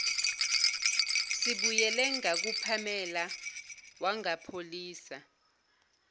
sibuyele ngakupamela wangapholisa